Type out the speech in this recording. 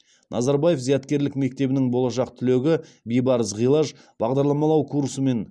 назарбаев зияткерлік мектебінің болашақ түлегі бибарыс ғилаж бағдарламалау курсымен